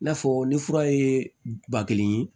I n'a fɔ ni fura ye ba kelen ye